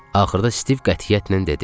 axırda Stiv qətiyyətlə dedi.